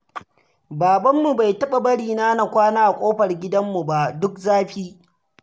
Babanmu bai taɓa bari na na kwana a ƙofar gidanmu ba duk zafi.